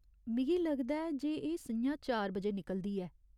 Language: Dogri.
मिगी लगदा ऐ जे एह् स'ञां चार बजे निकलदी ऐ।